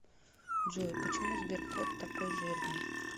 джой почему сберкот такой жирный